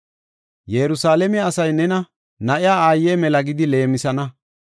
“Yerusalaame, asay nena, ‘Na7iya aaye mala’ gidi leemisana.